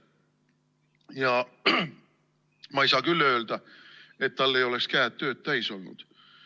Ja ma ei saa küll öelda, et tal ei oleks käed tööd täis olnud.